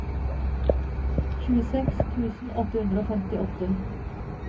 tjueseks tusen åtte hundre og femtiåtte